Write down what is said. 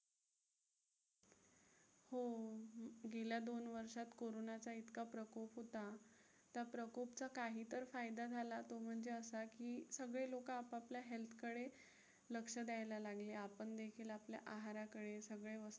गेल्या दोन वर्षात कोरोनाचा इतका प्रकोप होता, त्या प्रकोपचा काहीतर फायदा झाला तो म्हणजे असा की सगळे लोकं आपापल्या health कडे लक्ष द्यायला लागले. आपण देखील आपल्या आहाराकडे सगळे